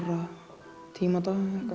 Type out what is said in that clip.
tíma á